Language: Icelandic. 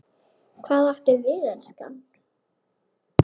Hvað áttu við, elskan?